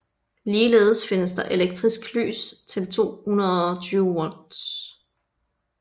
Ligeledes findes der Elektrisk Lys til 220 V